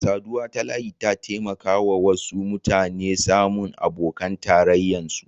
Saduwa ta layi ya taimaka wasu mutane samu abokan tarrayan su.